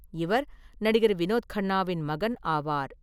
இவர் நடிகர் வினோத் கண்ணாவின் மகன் ஆவார்.